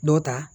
Dɔ ta